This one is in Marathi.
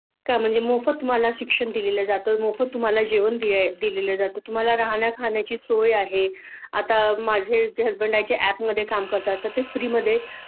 का म्हणजे मोफत तुम्हाला शिक्षण दिलेलं जात मोफत तुम्हाला जेवण द्या दिलेलं जात तुम्हाला राहण्या खाण्याची सोया आहे आता माझे जे हसबँड आहेत जे अँप मध्ये काम करतात तर ते फ्री मध्ये